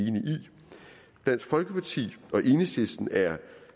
dansk folkeparti og enhedslisten er